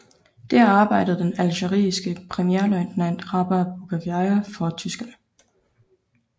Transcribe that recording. Der arbejdede den algierske premierløjtnant Rabah Būkabūya for tyskerne